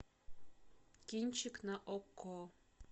кинчик на окко